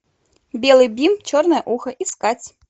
белый бим черное ухо искать